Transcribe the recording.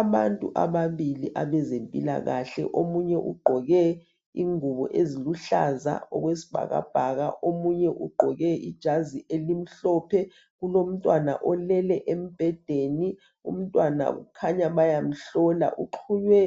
Abantu ababili abezempilakahle omunye ugqoke ingubo eziluhlaza okwesibhakabhaka, omunye ugqoke ijazi elimhlophe. Kulomntwana olele embhedeni, umntwana kukhanya bayamhlola uxhunywe